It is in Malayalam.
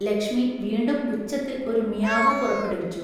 ലക്ഷ്മി വീണ്ടും ഉച്ചത്തിൽ ഒരു മിയാവൂ പുറപ്പെടുവിച്ചു.